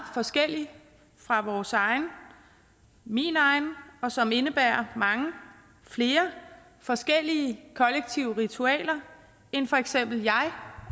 forskellig fra vores egen min egen og som indebærer mange flere forskellige kollektive ritualer end for eksempel jeg